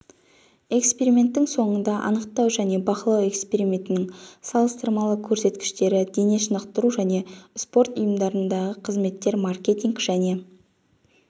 эксперименттің соңында анықтау және бақылау эксперименттерінің салыстырмалы көрсеткіштері дене шынықтыру және спорт ұйымдарындағы қызметтер маркетинг және